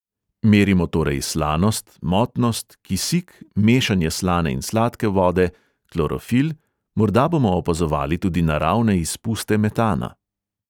Merimo torej slanost, motnost, kisik, mešanje slane in sladke vode, klorofil, morda bomo opazovali tudi naravne izpuste metana.